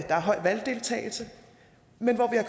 er høj valgdeltagelse men hvor vi